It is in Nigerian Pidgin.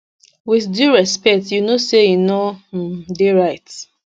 wit due respect you know say e no um dey right